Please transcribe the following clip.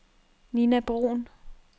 Nina Bruhn